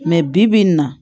bi bi in na